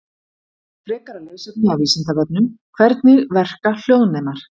Frekara lesefni af Vísindavefnum: Hvernig verka hljóðnemar?